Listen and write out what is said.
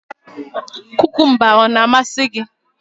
Kukumba a na-amasị gị?